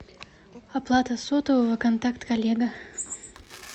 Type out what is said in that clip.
оплата сотового контакт коллега